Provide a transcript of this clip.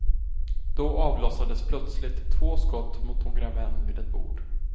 Då avlossades plötsligt två skott mot några män vid ett bord.